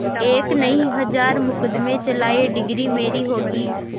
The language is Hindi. एक नहीं हजार मुकदमें चलाएं डिगरी मेरी होगी